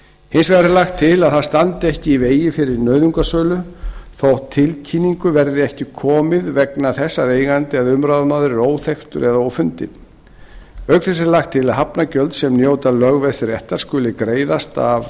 hins vegar er lagt til að það standi ekki í vegi fyrir nauðungarsölu þótt tilkynningu verði ekki við komið vegna þess að eigandi eða umráðamaður er óþekktur eða ófundinn auk þessa er lagt til að hafnargjöld sem njóta lögveðsréttar skuli greiðast